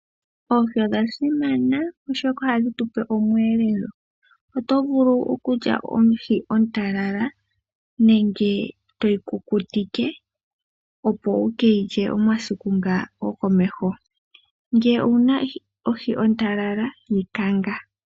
Oohi odha simana oshoka ohadhi tupe omuelelo otovulu okulya ohi ontalala nenge toyi kukutike opo wukeyi lye omasiku nga gokomeho nge owuna ohi ontalala yikanga.